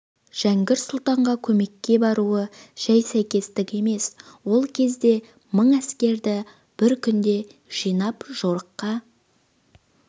жәңгір сұлтанға көмекке баруы жәй сәйкестік емес ол кезде мың әскерді бір күнде жинап жорыққа